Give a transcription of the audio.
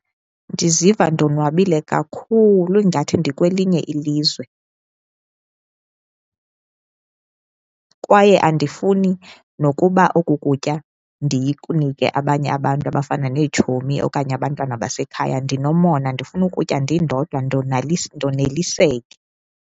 Ndiziva ndonwabile kakhulu ingathi ndikwelinye ilizwe kwaye andifuni nokuba oku kutya ndikunike abanye abantu abafana neetshomi okanye abantwana basekhaya, ndinomona ndifuna ukutya ndindodwa ndoneliseke.